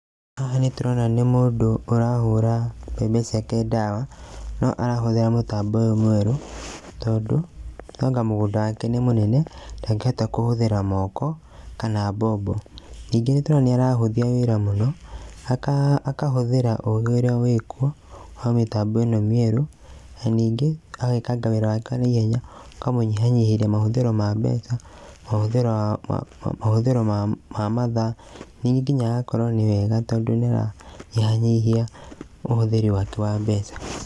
Haha nĩ tũrona nĩ mũndũ ũrahũra mbembe ciake dawa, no arahũthĩra mũtambo ũyũ mwerũ, tondũ nũanga mũgũnda wake nĩ mũnene, ndangĩhota kũhũthĩra moko, kana mbombo. Ningĩ nĩ tũrona nĩ arahũthia wĩra mũno aka, akahũthĩra ũgĩ ũrĩa wĩ kuo, wa mĩtambo ĩno mĩerũ, na ningĩ agekanga wĩra wake na ihenya, ũkamũnyihanyihĩria mahũthĩro ma mbeca, mahũthĩro, mahũthĩro ma mathaa, ningĩ agakorwo nĩ wega tondũ nĩaranyihanyihia ũhũthĩri wake wa mbeca.